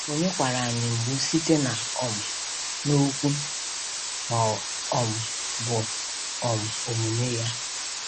Onye kwara anyị mgbu site na um n’okwu ma ọ um bụ um omume ya?